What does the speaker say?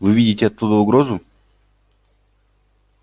вы видите оттуда угрозу